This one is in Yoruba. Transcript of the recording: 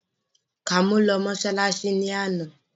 Kàmọ́ lọ mọ́ṣáláṣí lánàá